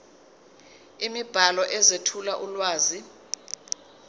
imibhalo ezethula ulwazi